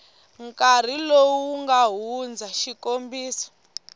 nkarhi lowu nga hundza xik